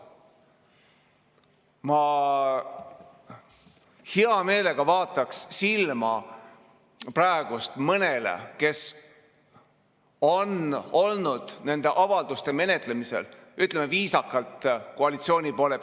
Ma hea meelega vaataks silma praegust mõnele inimesele koalitsiooni poole pealt, kes on olnud nende avalduste menetlemisel, ütleme viisakalt, selline kõhklev.